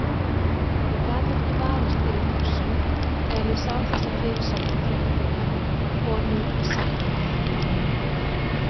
Ég gat ekki varist þeirri hugsun þegar ég sá þessa fyrirsögn á fréttinni: Konu saknað.